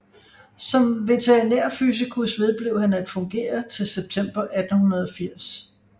Som Veterinærfysikus vedblev han at fungere til september 1880